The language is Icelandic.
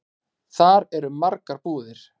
Þar eru margar búðir.